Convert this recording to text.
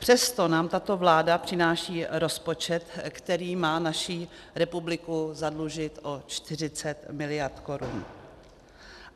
Přesto nám tato vláda přináší rozpočet, který má naši republiku zadlužit o 40 mld. korun.